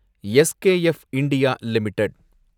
SKF India limited